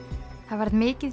krakkafréttir mikið